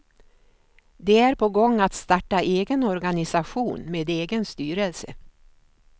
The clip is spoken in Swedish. De är på gång att starta egen organisation med egen styrelse.